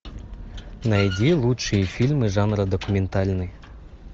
найди лучшие фильмы жанра документальный